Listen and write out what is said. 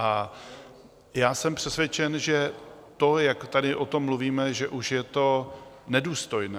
A já jsem přesvědčen, že to, jak tady o tom mluvíme, že už je to nedůstojné.